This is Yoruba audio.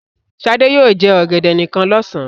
Sadé yóò jẹ ọ̀gẹ̀dẹ̀ nìkan lọ́sàn-án.